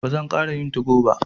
Ba zan ƙara yin tugo ba.